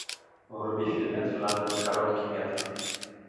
вруби фильмец в жанре короткий метр